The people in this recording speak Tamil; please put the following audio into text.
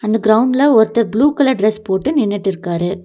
இந்த கிரவுண்ட்ள ஒருத்தர் ப்ளூ கலர் டிரஸ் போட்டு நின்னுட்டுருக்காரு.